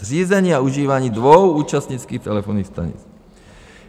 Zřízení a užívání dvou účastnických telefonních stanic.